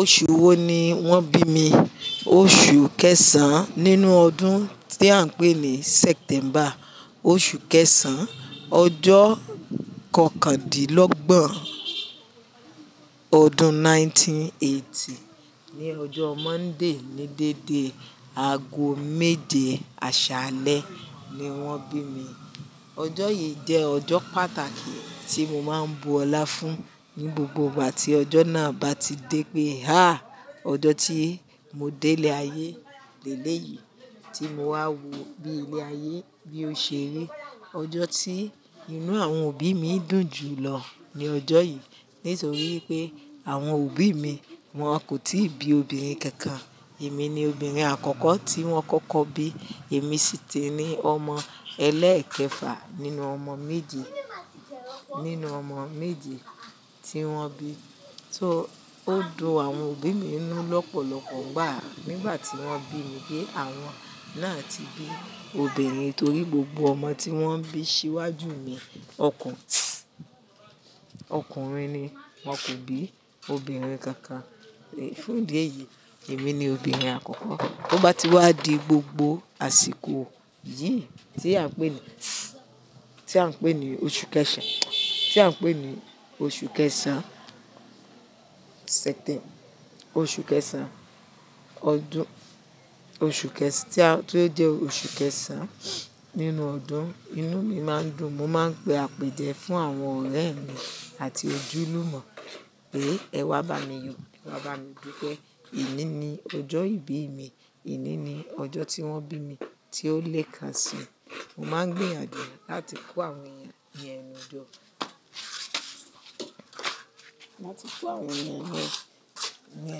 Oṣù wo ni wọ́n bí mi? Oṣù kẹsàn-án nínú ọdún tí à ń pè ní September. Oṣù kẹsàn-án, ọjọ́ kọkàndínlọ́gbọ̀n ọdún ẹgbẹ̀rún kan ó lé ọgọ́rùn-ún mẹ́sàn-án ó lé ọgọ́rin. Ni ọjọ́ Monday, ni dédé aago méje àṣálẹ́ ni wọ́n bí mi. Ọjọ́ yìí jẹ́ ọjọ́ pàtàkì tí mo máa ń bu ọlá fún ní gbogbo ìgbà tí ọjọ́ náà bá ti dé pé, "hà, ọjọ́ tí mo délé ayé lélẹ̀ yìí, tí mo wá wò bí ilé ayé bí ó ṣe rí." Ọjọ́ tí inú àwọn òbí mi dùn jù lọ ni ọjọ́ yìí nítorí pé àwọn òbí mi wọn kò tíì bí obìnrin kankan. Èmi ni obìnrin àkọ́kọ́ tí wọ́n kọ́kọ́ bí. Èmi sì ti ní ọmọ ẹlẹ́ẹ̀kẹfà nínú ọmọ méje tí wọ́n bí. Só ó dùn àwọn òbí mi ninú lọ́pọ̀lọpọ̀. Gbara, nígbà tí wọ́n bí mi pé àwọn náà ti bí obìnrin torí gbogbo ọmọ tí wọ́n bí síwájú mi ọkùnrin ni. Wọn kò bí obìnrin kankan. Fún ìdí èyí, èmi ni obìnrin àkọ́kọ́. Bo bá ti wá di gbogbo àsìkò yìí tí à ń pè ní, tí à ń pè ní oṣù kẹsàn-án oṣù kẹsàn-án, tí ó jẹ́ oṣù kẹsàn-án nínú ọdún, inú mi máa ń dùn. Mo máa ń pe àpèjẹ fún àwọn ọ̀rẹ́ mi àti ojúlùmọ̀ pé ẹ wá bá mi yọ, ẹ wá bá mi dupe Ìní ni ọjọ́ ìbí mi. Ení ni ọjọ́ tí wọ́n bí mi tí ó le kàn sí. Mo máa ń gbìyànjú láti kó àwọn ènìyàn ní ẹnu ìjọ, láti kó àwọn ènìyàn ní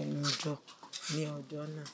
ẹnu jọ ní ọjọ́ náà.